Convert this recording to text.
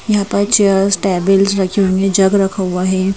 यहां पर chairs tables रखी हुई हैं जग रखा हुआ है।